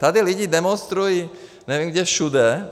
Tady lidé demonstrují, nevím, kde všude.